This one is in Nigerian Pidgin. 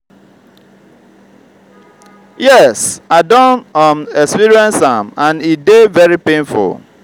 yes i don um experience am and e dey very painful.